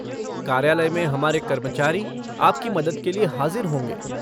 कार्यालय में हमारे कर्मचारी आपकी मदद के लिए हाज़िर होंगे।